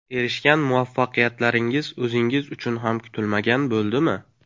Erishgan muvaffaqiyatlaringiz o‘zingiz uchun ham kutilmagan bo‘ldimi?